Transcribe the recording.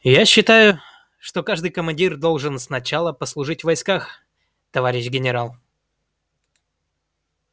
я считаю что каждый командир должен сначала послужить в войсках товарищ генерал